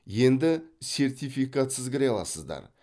енді сертификатсыз кіре аласыздар